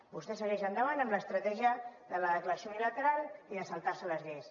vostè segueix endavant amb l’estratègia de la declaració unilateral i de saltar se les lleis